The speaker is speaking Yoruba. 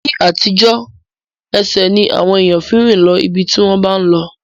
Ní àtijọ́, ẹsẹ̀ ni àwọn ènìyàn fi ń rìn lọ ibi tí wọ́n bá ń lọ